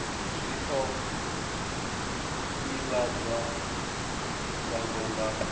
zwi o ivhadzwa shango nga